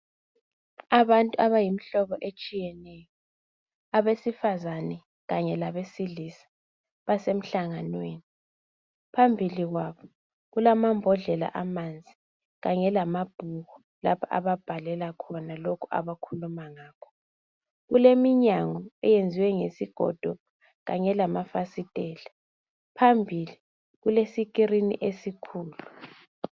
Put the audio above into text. Abantu abayimihlobo etshiyeneyo. Abesifazana kabesilisa. Basemhlanganweni. Phambili kwabo kulamambodlela amanzi, kanye kamabhuku lapha ababhalela kuwo lokho abakhuluma ngakho. Kuleminyango eyenzwe ngesigodo, kanye lmafasitela. Phambili kulescreen esikhulu.